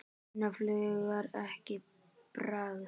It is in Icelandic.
Finna fuglar ekki bragð?